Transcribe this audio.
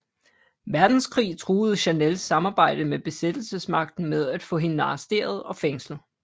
Verdenskrig truede Chanels samarbejde med besættelsesmagten med at få hende arresteret og fængslet